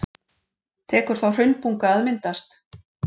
Tekur þá hraunbunga að myndast.